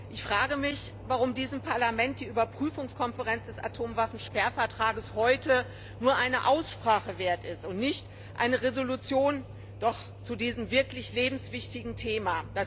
Ich frage mich, warum diesem Parlament die Überprüfungskonferenz des Atomwaffensperrvertrags heute nur eine Aussprache wert ist und nicht doch eine Entschließung zu diesem wirklich lebenswichtigen Thema.